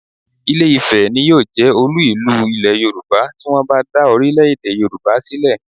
Ìlé-ifẹ̀ ni yóò jẹ́ olú ìlú Ilẹ̀ Yorùbá tí wọ́n bá dá orílẹ̀-èdè Yorùbá sílẹ̀